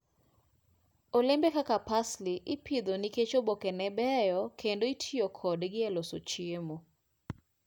Olembe kaka parsley ipidho nikech obokene beyo kendo itiyo kodgi e loso chiemo.